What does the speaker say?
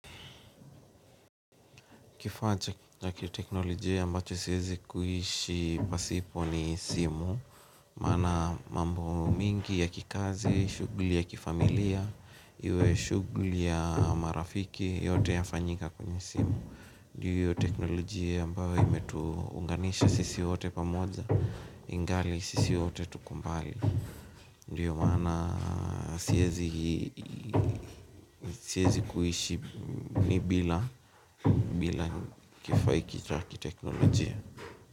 Kifaa cha ya kiteknolojia ambacho siwezi kuishi pasipo ni simu. Maana mambo mingi ya kikazi, shughuli ya kifamilia, iwe shughuli ya marafiki yote ya fanyika kwenye simu. Ndiyo teknolojia ambayo imetuunganisha sisi wote pamoja, ingali sisi wote tuko mbali. Ndio maana siwezi kuishi bila kifaa hichi cha teknolojia.